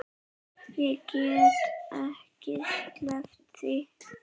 Ég get ekki sleppt því.